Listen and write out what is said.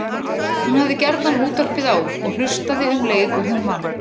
Hún hafði gjarnan útvarpið á og hlustaði um leið og hún vann.